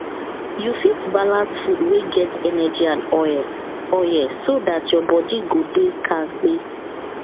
you fit balance food wey get energy and oil oil so dat your body go dey kampe